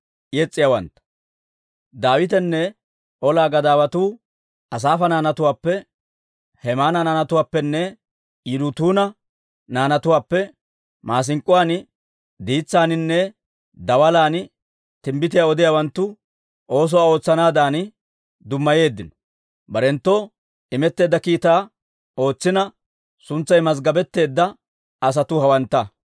Daawitenne ola gadaawatuu Asaafa naanatuwaappe, Hemaana naanatuwaappenne Yidutuuna naanatuwaappe maasink'k'uwaan diitsaaninne daalan timbbitiyaa odiyaawanttu oosoo ootsanaadan dummayeeddino. Barenttoo imetteedda kiitaa ootsina, suntsay mazggabetteedda asatuu hawantta.